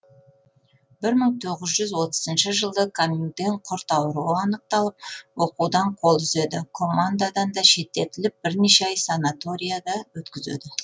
бір мың тоғыз жүз отызыншы жылы камьюден құрт ауруы анықталып оқудан қол үзеді командадан да шеттетіліп бірнеше ай санаторияда өткізеді